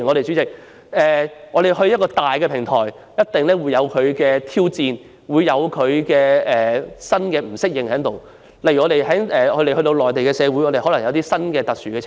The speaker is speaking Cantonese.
主席，一個較大的平台定會帶來挑戰，有些人或會感到不適應，例如，我們可能會在內地遇到一些特殊情況。